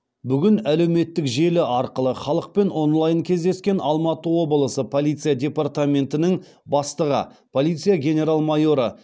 бүгін әлеуметтік желі арқылы халықпен онлайн кездескен алматы облысы полиция департаментінің бастығы полиция генерал майоры